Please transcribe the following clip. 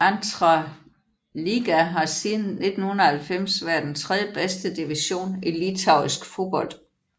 Antra lyga har siden 1990 været den tredjebedste division i litauisk fodbold